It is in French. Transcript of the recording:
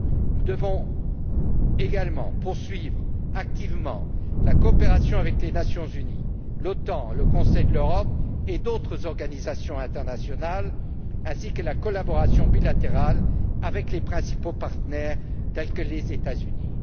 Nous devons également poursuivre activement notre coopération avec les Nations unies, l'OTAN, le Conseil de l'Europe et d'autres organisations internationales, ainsi que notre collaboration bilatérale avec nos principaux partenaires, tels que les États Unis.